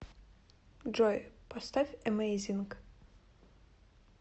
джой поставь эмэйзинг